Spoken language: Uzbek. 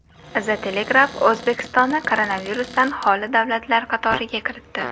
The Telegraph O‘zbekistonni koronavirusdan xoli davlatlar qatoriga kiritdi.